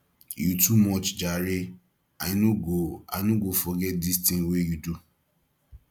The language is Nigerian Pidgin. you too much jare i no go i no go forget dis tin wey you do